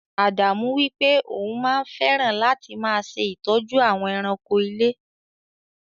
Ádámù wípé òun máa fẹràn láti máa ṣe ìtọ́jú àwọn èràńko ilé.